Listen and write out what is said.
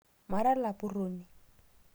Mara lapuroni